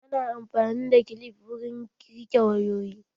Ana amfani da kilif wurin rike wayoyi.